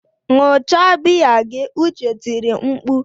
Ṅụọ cha biya gị! Uche tiri mkpu.